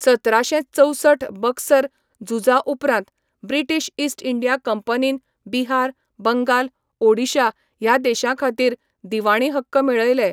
सतराशें चौसठ बक्सर झुजा उपरांत ब्रिटीश ईस्ट इंडिया कंपनीन बिहार, बंगाल, ओडिशा ह्या देशांखातीर दिवाणी हक्क मेळयले.